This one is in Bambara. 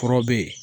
Kɔrɔ be yen